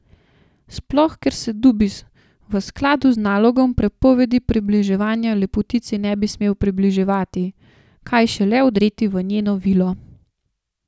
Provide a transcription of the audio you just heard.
Sploh ker se Dubis v skladu z nalogom prepovedi približevanja lepotici ne bi smel približevati, kaj šele vdreti v njeno vilo.